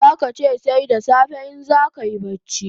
Zaka che sai da safe in zakayi bacci